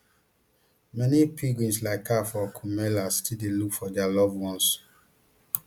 many pilgrims like her for kumbh mela still dey look for dia loved ones